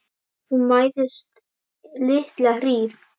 Þú mæðist litla hríð.